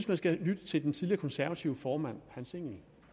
man skal lytte til den tidligere konservative formand hans engell